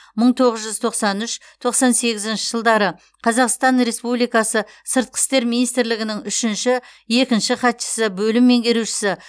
мың тоғыз жүз тоқсан үш тоқсан сегізінші жылдары қазақстан республикасы сыртқы істер министрлігінің үшінші екінші хатшысы бөлім меңгерушісі